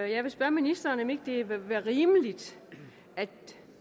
jeg vil spørge ministeren om ikke det vil være rimeligt at